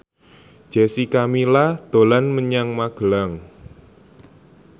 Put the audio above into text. Jessica Milla dolan menyang Magelang